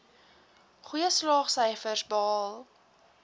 goeie slaagsyfers behaal